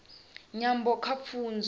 nyambo kha pfunzo